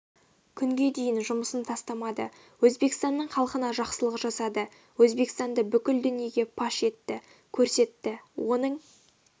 күнге дейін жұмысын тастамады өзбекстанның халқына жақсылық жасады өзбекстанды бүкіл дүниеге паш етті көрсетті оның